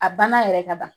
A banna yɛrɛ ka ban